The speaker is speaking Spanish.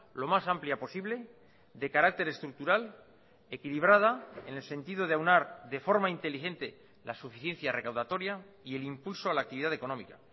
lo más amplia posible de carácter estructural equilibrada en el sentido de aunar de forma inteligente la suficiencia recaudatoria y el impulso a la actividad económica